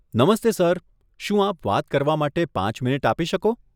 નમસ્તે સર, શું આપ વાત કરવા માટે પાંચ મિનિટ આપી શકો?